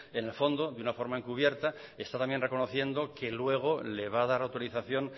en el fondo de una forma encubierta está también reconociendo que luego le va a dar autorización